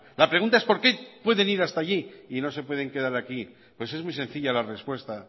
la pregunta es por qué pueden ir hasta allí y no se pueden quedar aquí pues es muy sencilla la respuesta